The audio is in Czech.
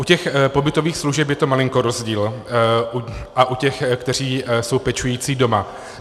U těch pobytových služeb je to malinko rozdíl, a u těch, kteří jsou pečující doma.